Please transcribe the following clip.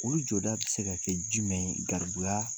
Olu jɔda bɛ se ka kɛ ji jumɛn ye garibuya